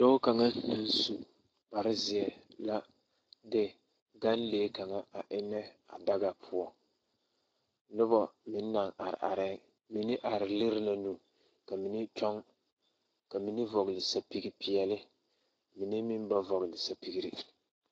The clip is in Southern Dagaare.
Dɔɔ kaŋ naŋ su kparzeɛ la de ɡanlee kaŋa a ennɛ a daɡa poɔ noba meŋ naŋ arearɛɛŋ mine are liri la nu ka mine kyɔɡe ka mine vɔɔle sapiɡipeɛle mine meŋ ba vɔɔɡele sapiɡire.